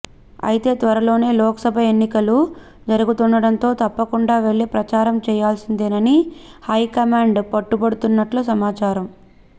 అయితే త్వరలోనే లోక్సభ ఎన్నకలు జరుగుతుండటంతో తప్పకుండా వెళ్లి ప్రచారం చేయాల్సిందేనని హైకమాండ్ పట్టుబడుతున్నట్లు సమాచారం